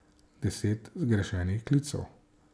Deset zgrešenih klicev.